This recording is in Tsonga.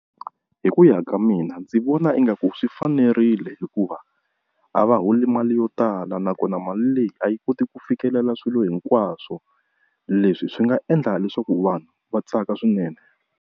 Hi ku ya ka mina ndzi vona ingaku swi fanerile hikuva a va holi mali yo tala, nakona mali leyi a yi koti ku fikelela swilo hinkwaswo leswi swi nga endla leswaku vanhu va tsaka swinene.